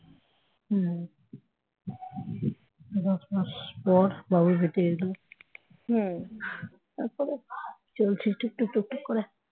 দশ মাস পর বাবু পেটে এলো তারপরে চলছে টুকটুক টুকটুক করে